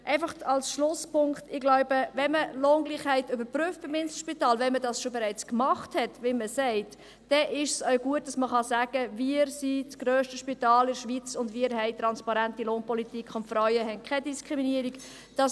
Einfach als Schlusspunkt: Wenn man Lohngleichheit beim Inselspital überprüft und wenn man dies bereits getan hat, wie man sagt, ist es gut, wenn man sagen kann, dass wir das grösste Spital in der Schweiz sind, eine transparente Lohnpolitik haben und die Frauen keine Diskriminierung erfahren.